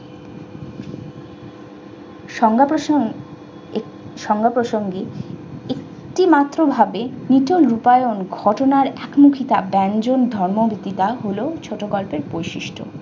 সংজ্ঞা প্রসঙ্গে একটিমাত্র ভাবে নিচের রূপায়ণ ঘটনার একমুখী কাব্যায়জন ধর্ম দিদার হলো ছোটগল্পের বৈশিষ্ট।